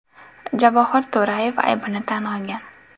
Javohir To‘rayev aybini tan olgan.